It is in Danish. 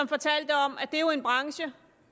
fortalte om at det jo er en branche